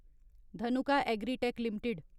Dhanuka agritech limited